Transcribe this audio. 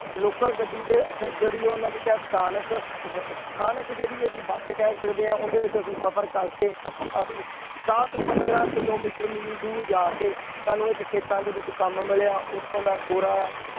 Local ਗੱਡੀ ਤੇ ਸ~ ਜਿਹੜੀ ਉਹਨਾਂ ਕਹਿ ਸਥਾਨਕ ਸ~ ਅਹ ਸਥਾਨਕ ਜਿਹੜੀ ਅਸੀਂ ਬਸ ਕਹਿ ਸਕਦੇ ਹਾਂ ਉਹਦੇ ਵਿੱਚ ਅਸੀਂ ਸਫ਼ਰ ਕਰਕੇ ਅਸੀਂ ਦਸ ਪੰਦਰਾਂ ਕਿੱਲੋਮੀਟਰ ਮੀਲ ਦੂਰ ਜਾ ਕੇ ਸਾਨੂੰ ਇੱਕ ਖੇਤਾਂ ਦੇ ਵਿੱਚ ਕੰਮ ਮਿਲਿਆ ਉੱਥੋਂ ਦਾ ਗੋਰਾ